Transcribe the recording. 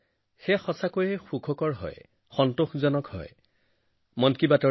মোৰ এনে লাগে মন কী বাতৰ জৰিয়তে আপোনালোকৰ সৈতে একত্ৰিত হৈ আৰু আজি আমাৰ একেলগে কৰা যাত্ৰাৰ ১০৮সংখ্যক খণ্ড